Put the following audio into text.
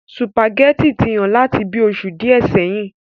Sùpàgẹ́tì ti hán láti bíi oṣù díè sẹyìn.